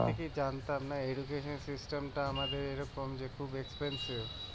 আগের থেকেই জানতাম না টা আমাদের এরকম যে খুব